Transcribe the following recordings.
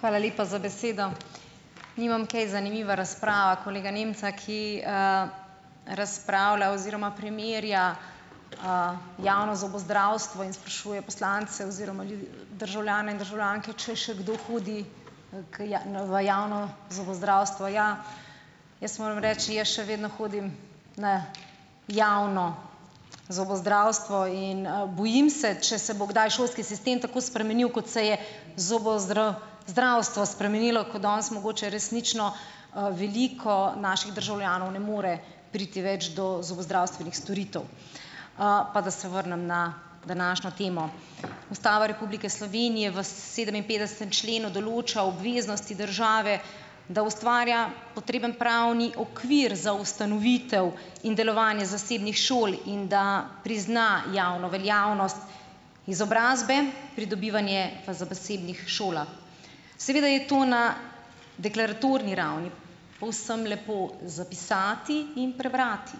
Hvala lepa za besedo. Nimam kaj, zanimiva razprava kolega Nemca, ki, razpravlja oziroma primerja, javno zobozdravstvo in sprašuje poslance oziroma državljane in državljanke, če še kdo hodi, k v javno zobozdravstvo? Ja, jaz moram reči, jaz še vedno hodim na javno zobozdravstvo. In, bojim se, če se bo kdaj šolski sistem tako spremenil, kot se je spremenilo, ko danes mogoče resnično, veliko naših državljanov ne more priti več do zobozdravstvenih storitev. Pa da se vrnem na današnjo temo. Ustava Republike Slovenije v sedeminpetdesetem členu določa obveznosti države, da ustvarja potreben pravni okvir za ustanovitev in delovanje zasebnih šol in da prizna javno veljavnost izobrazbe pridobivanje v zasebnih šolah. Seveda je to na deklaratorni ravni povsem lepo zapisati in prebrati.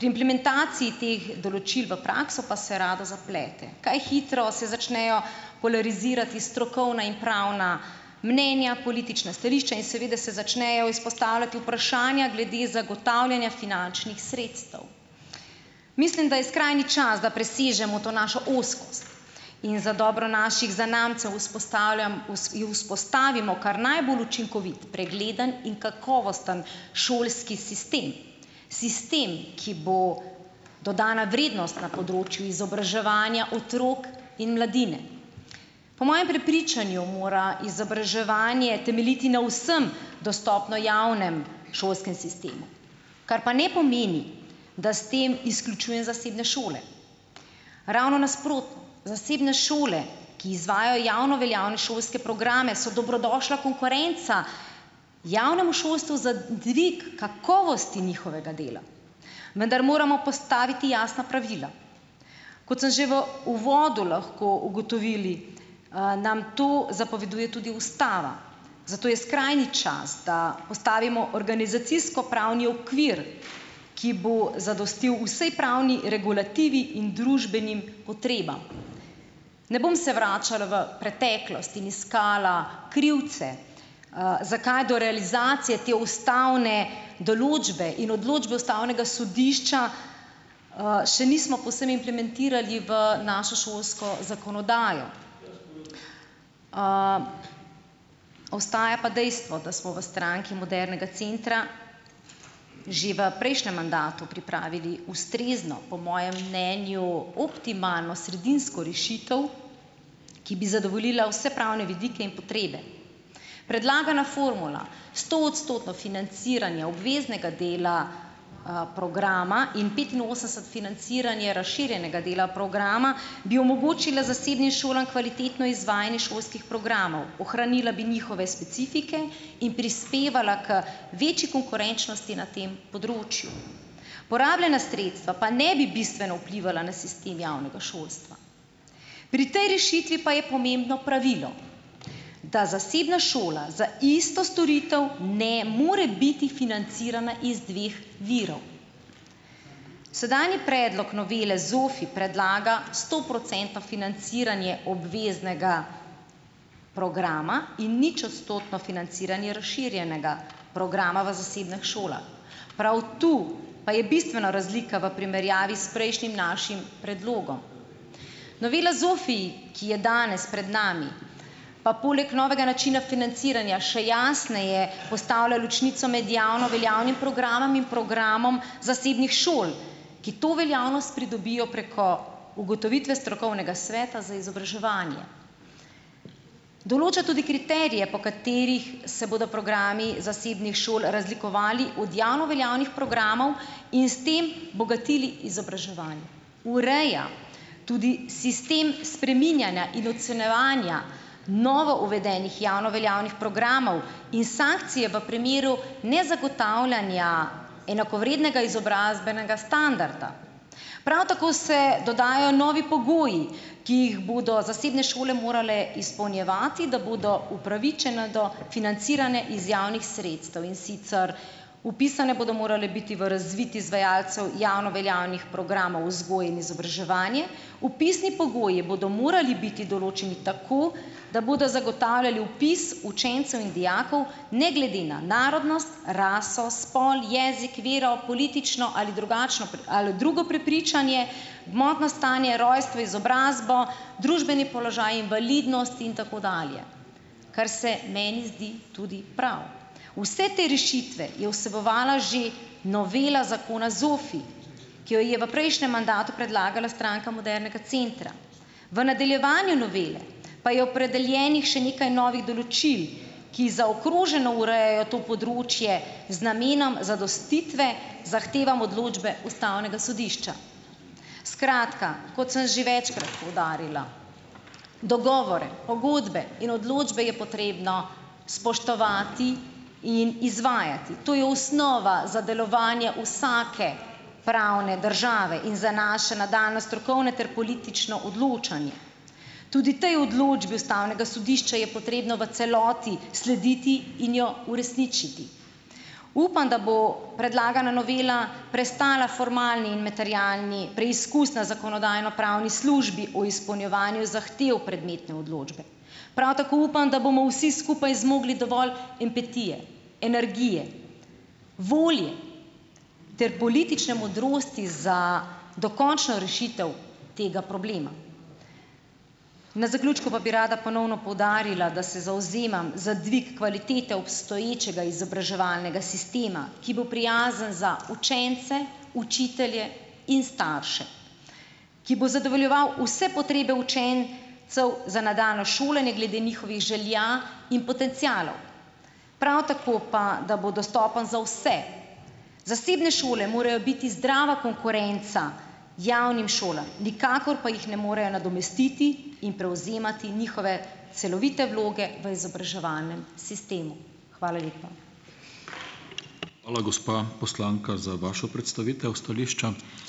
Pri implementaciji teh določil v prakso pa se rado zaplete. Kaj hitro se začnejo polarizirati strokovna in pravna mnenja, politična stališča in seveda se začnejo izpostavljati vprašanja glede zagotavljanja finančnih sredstev. Mislim, da je skrajni čas, da presežemo to našo ozkost in za dobro naših zanamcev vzpostavimo kar najbolj učinkovit, pregleden in kakovosten šolski sistem. Sistem, ki bo dodana vrednost na področju izobraževanja otrok in mladine. Po mojem prepričanju mora izobraževanje temeljiti na vsem dostopnem javnem šolskem sistemu, kar pa ne pomeni, da s tem izključujem zasebne šole. Ravno nasprotno. Zasebne šole, ki izvajajo javno veljavne šolske programe, so dobrodošla konkurenca javnemu šolstvu za dvig kakovosti njihovega dela, vendar moramo postaviti jasna pravila. Kot smo že v uvodu lahko ugotovili, nam to zapoveduje tudi ustava, zato je skrajni čas, da postavimo organizacijsko pravni okvir, ki bo zadostil vsej pravni regulativi in družbenim potrebam. Ne bom se vračala v preteklost in iskala krivce, zakaj do realizacije te ustavne določbe in odločbe ustavnega sodišča, še nismo povsem implementirali v našo šolsko zakonodajo, ostaja pa dejstvo, da smo v Stranki modernega centra že v prejšnjem mandatu pripravili ustrezno, po mojem mnenju optimalno sredinsko rešitev, ki bi zadovoljila vse pravne vidike in potrebe. Predlagana formula stoodstotno financiranje obveznega dela, programa in petinosemdeset financiranje razširjenega dela programa bi omogočila zasebnim šolam kvalitetno izvajanje šolskih programov. Ohranila bi njihove specifike in prispevala k večji konkurenčnosti na tem področju, porabljena sredstva pa ne bi bistveno vplivala na sistem javnega šolstva. Pri tej rešitvi pa je pomembno pravilo, da zasebna šola za isto storitev ne more biti financirana iz dveh virov. Sedanji predlog novele ZOFI predlaga stoprocentno financiranje obveznega programa in ničodstotno financiranje razširjenega programa v zasebnih šolah. Prav tu pa je bistvena razlika v primerjavi s prejšnjim našim predlogom. Novela ZOFI, ki je danes pred nami, pa poleg novega načina financiranja še jasneje postavlja ločnico med javno veljavnim programom in programom zasebnih šol, ki to veljavnost pridobijo preko ugotovitve strokovnega sveta za izobraževanje. Določa tudi kriterije, po katerih se bodo programi zasebnih šol razlikovali od javno veljavnih programov, in s tem bogatili izobraževanje. Ureja tudi sistem spreminjanja in ocenjevanja novouvedenih javno veljavnih programov in sankcije v primeru nezagotavljanja enakovrednega izobrazbenega standarda. Prav tako se dodajajo novi pogoji, ki jih bodo zasebne šole morale izpolnjevati, da bodo upravičene do financiranja iz javnih sredstev, in sicer: vpisane bodo morale biti v razvid izvajalcev javno veljavnih programov vzgoje in izobraževanja, vpisni pogoji bodo morali biti določeni tako, da bodo zagotavljali vpis učencev in dijakov ne glede na narodnost, raso, spol, jezik, vero, politično ali drugačno ali drugo prepričanje, gmotno stanje, rojstvo, izobrazbo, družbeni položaj, invalidnost in tako dalje, kar se meni zdi tudi prav. Vse te rešitve je vsebovala že novela zakona ZOFI, ki jo je v prejšnjem mandatu predlagala Stranka modernega centra. V nadaljevanju novele pa je opredeljenih še nekaj novih določil, ki zaokroženo urejajo to področje z namenom zadostitve zahtevam odločbe ustavnega sodišča. Skratka, kot sem že večkrat poudarila: dogovore, pogodbe in odločbe je potrebno spoštovati in izvajati. To je osnova za delovanje vsake pravne države in za naše nadaljnje strokovne ter politično odločanje. Tudi tej odločbi ustavnega sodišča je potrebno v celoti slediti in jo uresničiti. Upam, da bo predlagana novela prestala formalni in materialni preizkus na zakonodajno-pravni službi o izpolnjevanju zahtev prometne odločbe. Prav tako upam, da bomo vsi skupaj zmogli dovolj empatije, energije, volje ter politične modrosti za dokončno rešitev tega problema. Na zaključku pa bi rada ponovno poudarila, da se zavzemam za dvig kvalitete obstoječega izobraževalnega sistema, ki bo prijazen za učence, učitelje in starše, ki bo zadovoljeval vse potrebe za nadaljnje šolanje glede njihovih želja in potencialov. Prav tako pa, da bo dostopen za vse. Zasebne šole morajo biti zdrava konkurenca javnim šolam, nikakor pa jih ne morejo nadomestiti in prevzemati njihove celovite vloge v izobraževalnem sistemu. Hvala lepa.